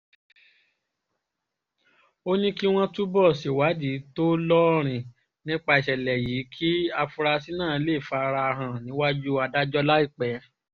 ó ní kí wọ́n túbọ̀ ṣèwádìí tó lóòrìn nípa ìṣẹ̀lẹ̀ yìí kí àfúrásì náà lè fara hàn níwájú adájọ́ láìpẹ́